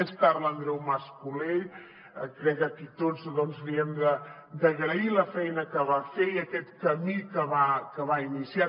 més tard l’andreu mas colell crec que aquí tots li hem d’agrair la feina que va fer i aquest camí que va iniciar